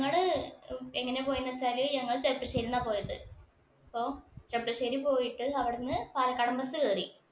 ഞങ്ങള് എങ്ങനെയാ പോയെന്ന് വെച്ചാല് ഞങ്ങള് ചെർപ്പശ്ശേരിന്ന പോയദ്. അപ്പോ ചെർപ്പശ്ശേരി പോയിട്ട് അവിടുന്ന് പാലക്കാടന്‍ bus കയറി.